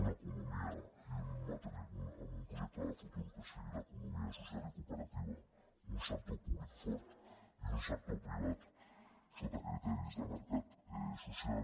una economia amb un projecte de futur que sigui l’economia social i cooperativa un sector públic fort i un sector privat sota criteris de mercat social